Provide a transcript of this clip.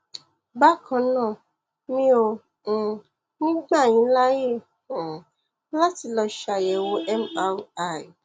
bákan náà um mi ò um ní gbà yín láyè um láti lọ ṣàyẹwò mri